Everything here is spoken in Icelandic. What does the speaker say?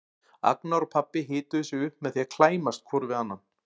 Agnar og pabbi hituðu sig upp með því að klæmast hvor við annan.